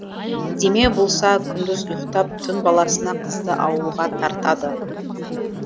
демеу болса күндіз ұйықтап түн баласына қызды ауылға тартады